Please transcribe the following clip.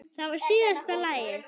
Það var síðasta lagið.